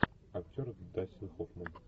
актер дастин хоффман